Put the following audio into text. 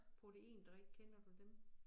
Proteindrik kender du dem?